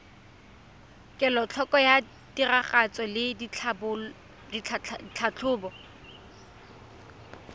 kelotlhoko ya tiragatso le tlhatlhobo